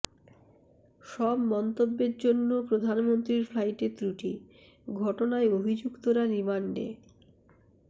সব মন্তব্যের জন্য প্রধানমন্ত্রীর ফ্লাইটে ত্রুটি ঘটনায় অভিযুক্তরা রিমান্ডে